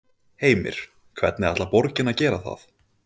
Heimir: Hvernig ætlar borgin að gera það?